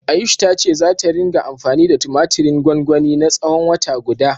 Ayush ta ce zata ringa anfani da tumatirin gwangwanin na tsawon wata guda.